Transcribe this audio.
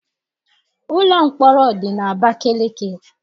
Ụlọ mkpọrọ dị n'Abakaliki.